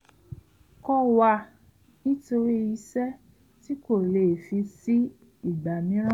kọ̀ wá nítorí iṣẹ́ tí kò lè fi sí ìgbà míìràn